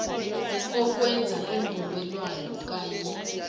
ukwenza iimvumelwano kanye